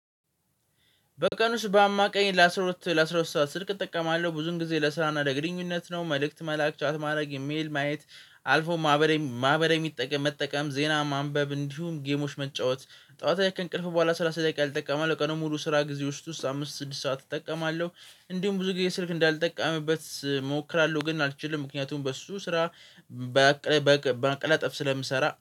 በቀን ውስጥ በአማካኝ ለአስራ ሁለት ለአስራ ሁለት ሰዓት ስልክ እጠቀማለሁ። ብዙውን ጊዜ ለስራና ለግንኙነት ነው። መልእክት መላክ፣ ቻት ማድረግ፣ ኢሜል ማየት፣ አልፎ ማህበር ማህበር የሚጠቀም መጠቀም ዜና ማንበብ፣ እንዲሁም ጌሞች መጫወት፤ ጠዋታ ላይ ከእንቅልፍ በኋላ ሰላሳ ደቂቃ እጠቀማለው። ቀኑን ሙሉ ስራ ጊዜ ውስጥ ውስጥ አምስት ስድስት ሰዓት እጠቀማለሁ። እንዲሁም ብዙ ጊዜ ስልክ እንዳልጠቃምበት እሞክራለሁ። ግን አልችልም ምክንያቱም በሱ ስራ በአቅለ በማቀላጠፍ ስለምሰራ